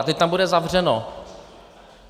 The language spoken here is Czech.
A teď tam bude zavřeno.